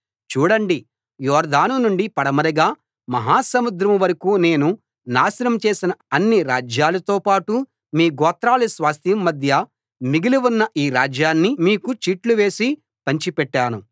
చూడండి యొర్దాను నుండి పడమరగా మహాసముద్రం వరకూ నేను నాశనం చేసిన అన్ని రాజ్యాలతో పాటు మీ గోత్రాల స్వాస్థ్యం మధ్య మిగిలి ఉన్న ఈ రాజ్యాన్ని మీకు చీట్లు వేసి పంచిపెట్టాను